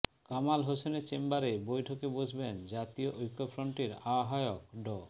কামাল হোসেনের চেম্বারে বৈঠকে বসবেন জাতীয় ঐক্যফ্রন্টের আহ্বায়ক ড